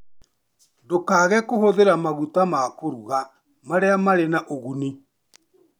Ndũkaage kũhũthĩra maguta ma kũruga marĩa marĩ na ũguni.